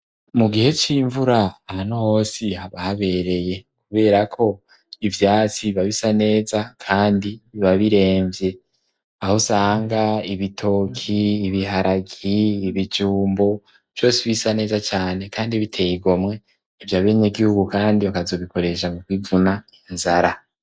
Mu gihe c'imvura ahanosi habahabereye, kubera ko ivyatsi ibabisa neza, kandi bibabiremvye aho sanga ibitoki ibiharagi ibijumbo vyose ibisa neza cane, kandi biteyigomwe ivyo abenye gihugu, kandi bakazobikoresha mu kwivunaa zara.